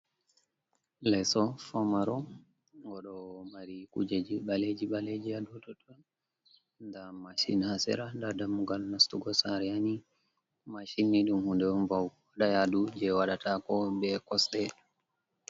Leso pamaro go ɗo mari kujeji ɓaleji ɓaleji ha dou totton, nda Mashin ha sera, nda dammugal nastugo saare ha ni, mashini ɗum hunde on ba'ugo waɗa yadu je waɗata ko be kosɗe.